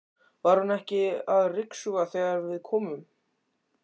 Var hún ekki að ryksuga þegar við komum?